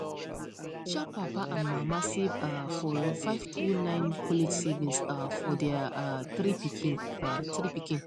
sharp papa and mama save um for five two nine college savings um for their um three pikin um three pikin